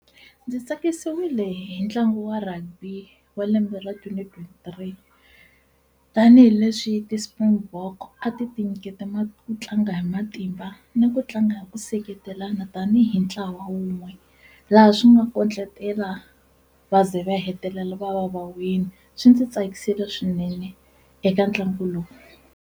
Ndzi tsakisiwile hi ntlangu wa rugby wa lembe ra twenty twenty three tanihileswi ti-springbok a ti tinyiketa ma ku tlanga hi matimba ni ku tlanga u nga hi ku seketelana tanihi ntlawa wun'we laha swi nga kondletela va ze va hetelela va va va wini, swi ndzi tsakisile swinene eka ntlangu lowu.